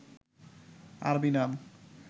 আরবি নাম